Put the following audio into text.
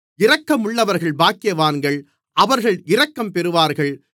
இரக்கமுள்ளவர்கள் பாக்கியவான்கள் அவர்கள் இரக்கம்பெறுவார்கள்